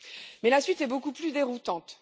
Mais la suite est beaucoup plus déroutante.